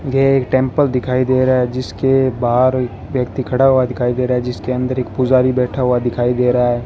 यह टेंपल दिखाई दे रहा है जिसके बाहर व्यक्ति खड़ा हुआ दिखाई दे रहा है जिसके अंदर एक पुजारी बैठा हुआ दिखाई दे रहा है।